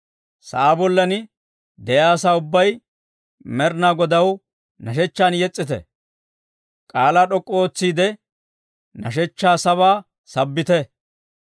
Sa'aa bollan de'iyaa asaa ubbay, Med'inaa Godaw nashshechchan yes's'ite; k'aalaa d'ok'k'u ootsiide, nashshechchaa sabaa sabbite.